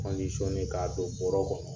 k'a don bɔrɔ kɔnɔ.